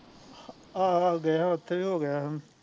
ਆਹੋ ਆਹੋ ਗਏ ਸੀ ਓਥੇ ਵੀ ਹੋਗਿਆ